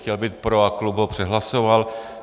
Chtěl být pro a klub ho přehlasoval.